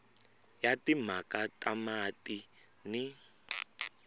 ya timhaka ta mati ni